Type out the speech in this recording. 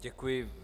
Děkuji.